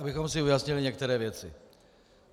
Abychom si ujasnili některé věci.